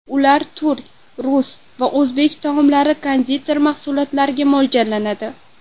Ular turk, rus va o‘zbek taomlari, konditer mahsulotlariga mo‘ljallanadi.